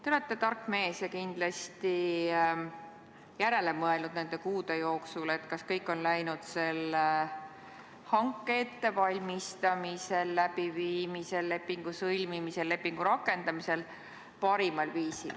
Te olete tark mees ja kindlasti olete nende kuude jooksul järele mõelnud, kas kõik on läinud selle hanke ettevalmistamisel ja läbiviimisel ning lepingu sõlmimisel ja rakendamisel parimal viisil.